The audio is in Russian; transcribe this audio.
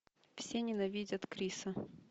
все ненавидят криса